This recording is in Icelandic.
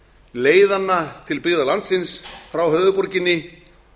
leiðanna til byggða landsins frá höfuðborginni